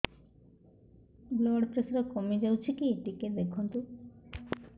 blood pressure କମି ଯାଉଛି କି ଟିକେ ଦେଖନ୍ତୁ